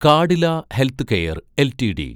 Cadila healthcare LTD